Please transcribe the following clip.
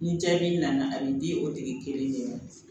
Ni jaabi nana a bi di o tigi kelen de ma